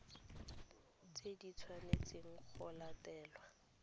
tse di tshwanetseng go latelwa